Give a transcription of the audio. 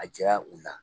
A jɛya u la